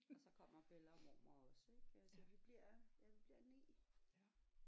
Og så kommer Bella og mormor også ik øh så vi bliver ja vi bliver 9